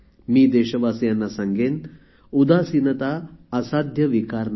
मी देशवासियांना सांगेन उदासीनता असाध्य विकार नाही